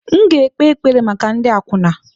M ga-ekpe ekpere maka ndị akwụna.